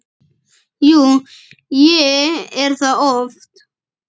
Jú, ég er það oft.